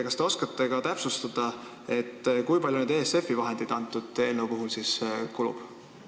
Kas te oskate täpsustada, kui palju ESF-i vahendeid eelnõu seaduseks saamise korral kulub?